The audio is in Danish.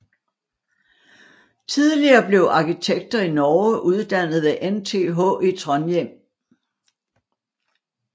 Tidligere blev arkitekter i Norge uddannet ved NTH i Trondheim